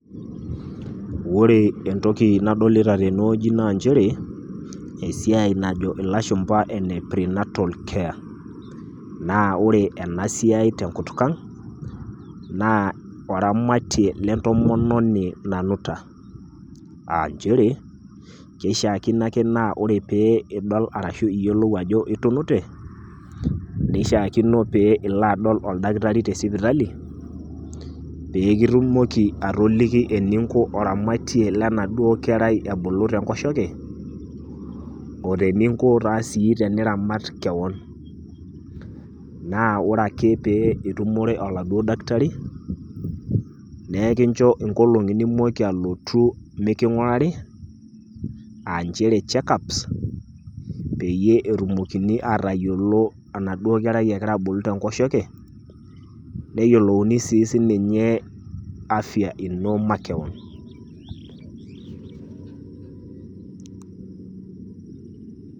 Ore entoki nadolita teinewueji naa nchere esiai najo ilashumba ene pre natal care naa ore ena siai tenkutuk aang' , naa oramatie le entomononi nanuta . Aa nchere, keishaakino aake naa pee ore piidol arashu iyiolou ajo itunute, neishaakino pee ilo adol oldakitari te sipitali, pee kitumoki atoliki eninko oramatie le enaduo kerai naabulu tenkoshoke, o teninko sii teniramat kewon. Naa ore ake pee itumore oladuo daktari nikincho inoolong'i nontoki alotu mikingurari aa nchere check ups peyie etumokini atayiolou enaduo kerai egira abulu te enkoshoke, neyioulouni sii siininye afia ino makewon.